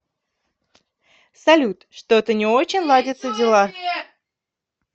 салют что то не очень ладятся дела